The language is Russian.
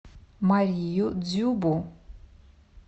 марию дзюбу